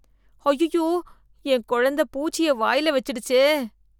ஐய்யயோ என் கொழந்த பூச்சிய வாயில வச்சுடுச்சே